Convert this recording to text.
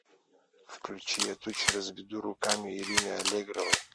включи я тучи разведу руками ирины аллегровой